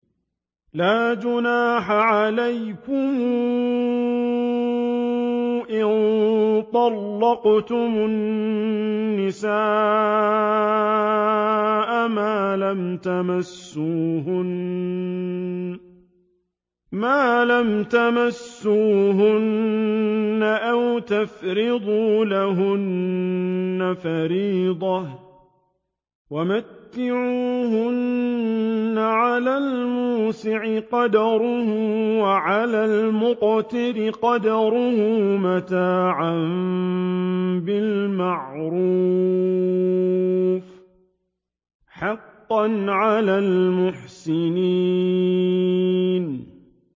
لَّا جُنَاحَ عَلَيْكُمْ إِن طَلَّقْتُمُ النِّسَاءَ مَا لَمْ تَمَسُّوهُنَّ أَوْ تَفْرِضُوا لَهُنَّ فَرِيضَةً ۚ وَمَتِّعُوهُنَّ عَلَى الْمُوسِعِ قَدَرُهُ وَعَلَى الْمُقْتِرِ قَدَرُهُ مَتَاعًا بِالْمَعْرُوفِ ۖ حَقًّا عَلَى الْمُحْسِنِينَ